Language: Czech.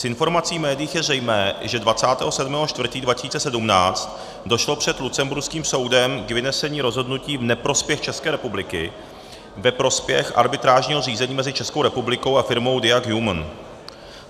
Z informací v médiích je zřejmé, že 27. 4. 2017 došlo před lucemburským soudem k vynesení rozhodnutí v neprospěch České republiky ve prospěch arbitrážního řízení mezi Českou republikou a firmou Diag Human.